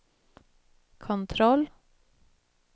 kontroll